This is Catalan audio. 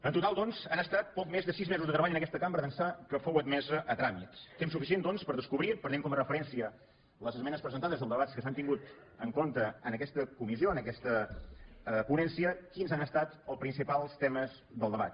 en total doncs han estat poc més de sis mesos de treball en aquesta cambra d’ençà que fou admesa a tràmit temps suficient per descobrir prenent com a referència les esmenes presentades i els debats que s’han tingut en compte en aquesta comissió en aquesta ponència quins han estat els principals temes del debat